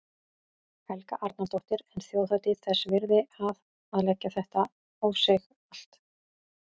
Helga Arnardóttir: En þjóðhátíð þess virði að, að leggja þetta á sig allt?